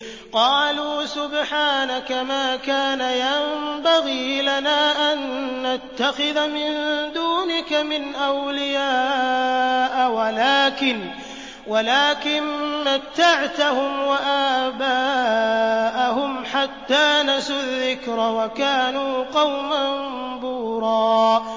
قَالُوا سُبْحَانَكَ مَا كَانَ يَنبَغِي لَنَا أَن نَّتَّخِذَ مِن دُونِكَ مِنْ أَوْلِيَاءَ وَلَٰكِن مَّتَّعْتَهُمْ وَآبَاءَهُمْ حَتَّىٰ نَسُوا الذِّكْرَ وَكَانُوا قَوْمًا بُورًا